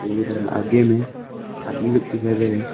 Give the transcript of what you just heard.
और उधर आगे में आदमी लोग दिखाई दे रहे हैं।